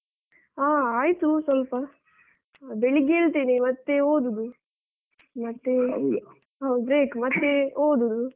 ಆ ಆಯ್ತು ಸೊಲ್ಪ. ಬೆಳಿಗ್ಗೆ ಏಳ್ತೇನೆ ಮತ್ತೆ ಓದುದು. break ಮತ್ತೆ ಓದುದು.